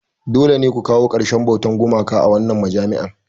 Dole ne ku kawo ƙarshen bautar gumaka a wannan majami'a!